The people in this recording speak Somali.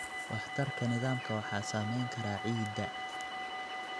Waxtarka nidaamka waxaa saameyn kara ciidda.